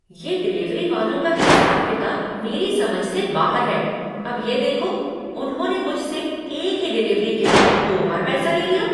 ये डिलीवरी वालों का हिसाब किताब मेरी समझ से बाहर है। अब ये देखो, उन्होंने मुझसे एक ही डिलीवरी के लिए दो बार पैसा ले लिया।